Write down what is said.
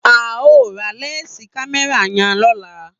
A o ra lẹnsi kámẹ́rà yan lọla